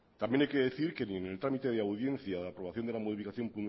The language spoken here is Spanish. también hay que decir que ni en el trámite de audiencia de aprobación de la modificación